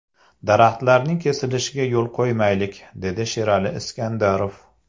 Daraxtlarning kesilishiga yo‘l qo‘ymaylik”, dedi Sherali Iskandarov.